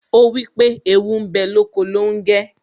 Ó wípé ' Ewu ń bẹ lóko longe'